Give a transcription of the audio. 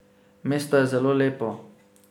Mesto je zelo lepo!